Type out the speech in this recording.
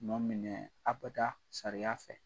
Nɔ minɛ abada sariya fɛ.